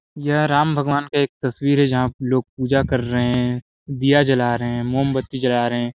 यह राम भगवान की एक तस्वीर है जहाँ पे लोग पूजा कर रहे है दिया जला रहे है मोमबत्ती जला रहे हैं ।